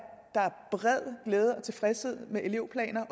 der bred glæde og tilfredshed med elevplanerne